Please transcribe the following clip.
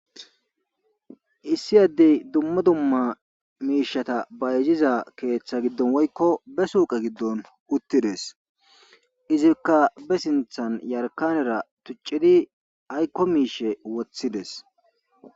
Issi addey dumma dumma miishata bayjiza keeththa giddon woykko be suuqa giddon uttides izikka be sinthan yarkanera tuccidi aykko miishe woththides